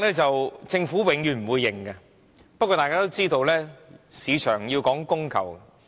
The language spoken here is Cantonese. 政府永遠不會承認有高地價政策，不過，大家都知道，市場要講供求。